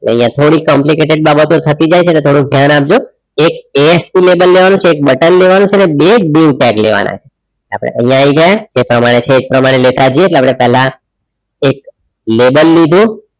અહીંયા થોડી complicated બાબતો થતી જાય છે એટલે થોડુક ધ્યાન આપજો એક ASP lable લેવાનું છે એક button લેવાનુ છે અને બે dieu tag લેવાના છે આપણે અહીંયા આવી જઈએ જે પ્રમાણે છે એ પ્રમાણે લેતા જઈએ એટલે આપણે પહેલા એક label લીધું.